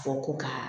Fɔ ko ka